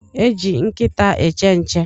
E eji nkịta eche nche